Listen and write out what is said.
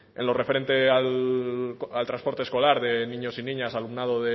en lo referente al transporte escolar de niños y niñas alumnado